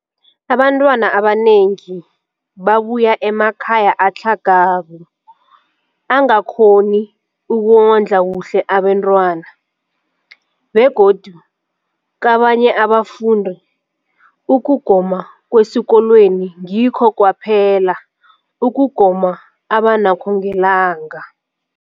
Abantwana abanengi babuya emakhaya atlhagako angakghoni ukondla kuhle abentwana, begodu kabanye abafundi, ukugoma kwesikolweni ngikho kwaphela ukugoma abanakho ngelanga.